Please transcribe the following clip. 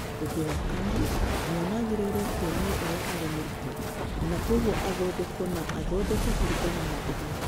Ũndũ wa kana, mwana agĩrĩirũo kuonio ũrĩa arĩ mũrutwo na kwoguo athondekwo na athondekwo kũringana na ũguo.